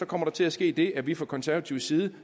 kommer der til at ske det at vi fra konservatives side